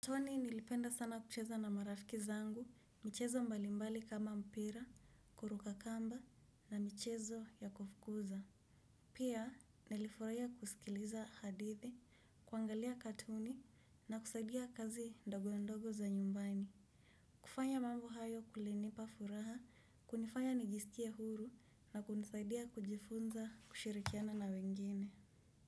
Twani nilipenda sana kucheza na marafiki zangu, michezo mbalimbali kama mpira, kuruka kamba na michezo ya kufukuza. Pia nilifurahia kusikiliza hadithi, kuangalia katuni na kusaidia kazi ndogo ndogo za nyumbani. Kufanya mambo hayo kulinipa furaha, kunifanya nijisikie huru na kunisaidia kujifunza kushirikiana na wengine.